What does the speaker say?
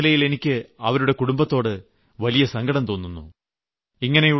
ഒരു സ്ത്രീ എന്ന നിലയിൽ എനിക്ക് അവരുടെ കുടംബത്തോട് വലിയ സങ്കടം തോന്നുന്നു